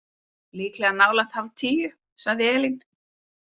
Líklega nálægt hálftíu, sagði Elín.